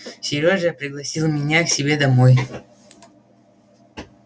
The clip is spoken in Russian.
серёжа пригласил меня к себе домой